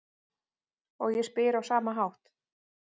Og ég spyr á sama hátt: